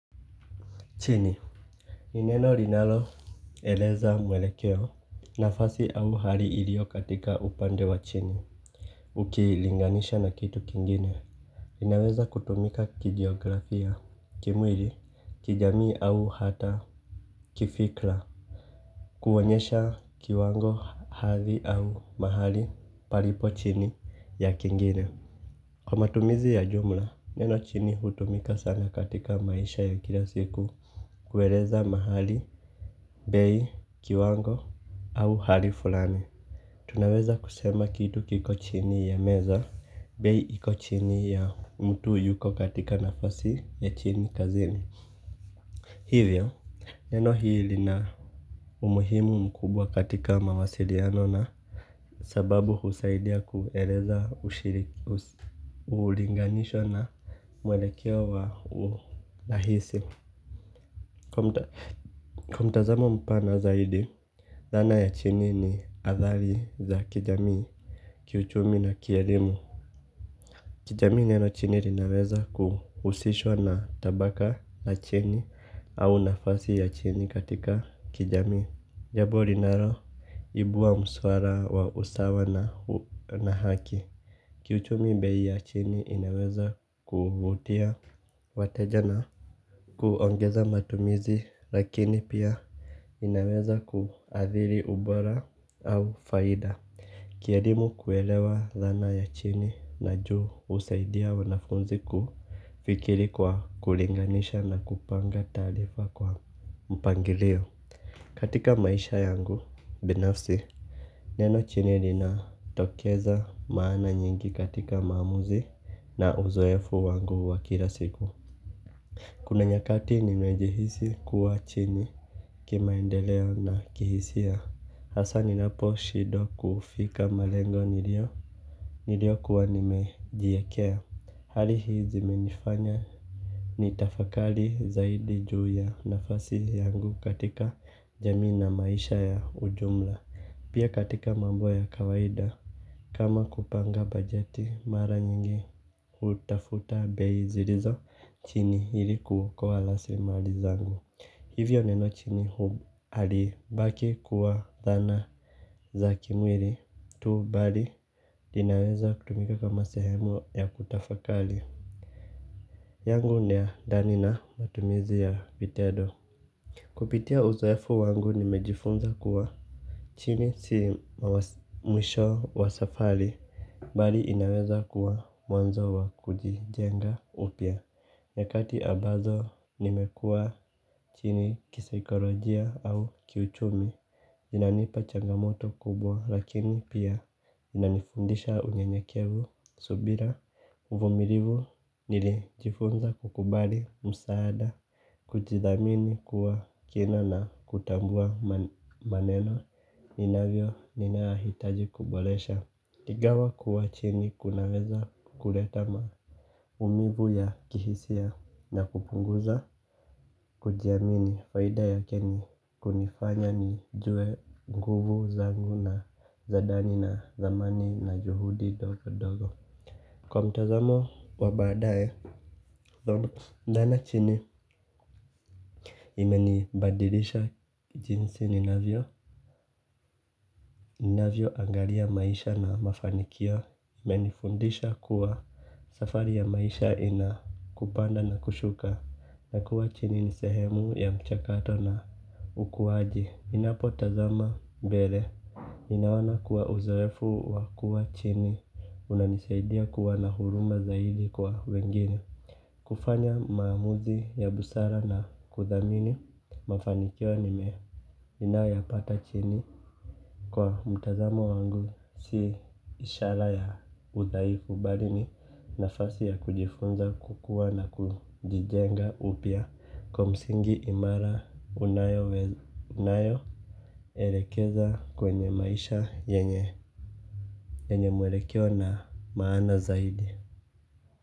Chini. Ni neno linalo eleza mwelekeo. Nafasi au hali ilio katika upande wa chini. Ukilinganisha na kitu kingine. Inaweza kutumika kigeografia. Kimwili kijamii au hata kifikra. Kuonyesha kiwango hali au mahali palipo chini ya kingine. Kwa matumizi ya jumla, neno chini hutumika sana katika maisha ya kila siku. Kueleza mahali, bei, kiwango, au hali fulani tunaweza kusema kitu kiko chini ya meza. Bei iko chini ya mtu yuko katika nafasi ya chini kazini. Hivyo, neno hili lina umuhimu mkubwa katika mawasiliano na sababu husaidia kueleza ulinganisho na mwelekeo wa urahisi. Kwa mtazamo mpana zaidi zana ya chini ni athari za kijamii, kiuchumi na kielimu. Kijamii neno chini linaweza kuhusishwa na tabaka la chini au nafasi ya chini katika kijamii. Jambo linalo ibua muswala wa usawa na haki kiuchumi bei ya chini inaweza kuvutia. Wateja na kuongeza matumizi lakini pia inaweza kuadhiri ubora au faida. Kielimu kuelewa dhana ya chini na juu husaidia wanafunzi kufikiri kwa kulinganisha na kupanga taarifa kwa mpangilio. Katika maisha yangu binafsi neno chini lina tokeza maana nyingi katika maamuzi na uzoefu wangu wakila siku. Kuna nyakati nimejihisi kuwa chini ki maendeleo na kihisia. Hasa ninapo shidwa kufika malengo niliyo. Niliyo kuwa nimejiwekea. Hali hii zimenifanya ni tafakari zaidi ju ya nafasi yangu katika jamii na maisha ya ujumla. Pia katika mambo ya kawaida. Kama kupanga bajeti mara nyingi hutafuta bei zilizo. Chini ili kuokoa rasilimali zangu. Hivyo neno chini hali baki kuwa dhana za kimwili tu bali inaweza kutumika kama sehemu ya kutafakari yangu na ya ndani na matumizi ya vitedo kupitia uzoefu wangu nimejifunza kuwa chini si mwisho wa safari. Bali inaweza kuwa mwanzo wa kujijenga upya. Nyakati ambazo nimekuwa chini kisaikolojia au kiuchumi. Inanipa changamoto kubwa lakini pia inanifundisha unyenyekevu subira. Uvumilivu nilijifunza kukubali msaada. Kujidhamini kuwa kina na kutambua maneno ninavyo ninahitaji kuboresha ingawa kuwa chini kunaweza kuleta maumivu ya kihisia na kupunguza kujiamini faida yake ni kunifanya nijue nguvu zangu na za ndani na dhamani na juhudi ndogo ndogo. Kwa mtazamo wa baadaye dhana ndana chini imeni badilisha jinsi ninavyo ninavyo angalia maisha na mafanikio imenifundisha kuwa safari ya maisha ina kupanda na kushuka na kuwa chini nisehemu ya mchakato na ukuwaji ninapo tazama mbele ninaona kuwa uzowefu wa kuwa chini. Una nisaidia kuwa na huruma zaidi kwa wengine. Kufanya maamuzi ya busara na kudhamini mafanikio nime ninayo yapata chini. Kwa mtazamo wangu si ishara ya udhaifu bali ni nafasi ya kujifunza kukua na kujijenga upya. Kwa msingi imara unayo elekeza kwenye maisha yenye mwelekeo na maana zaidi.